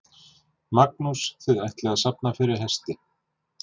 Magnús: Þið ætlið að safna fyrir hesti?